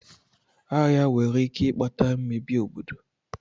Agha nwere ike ikpata mmebi obodo.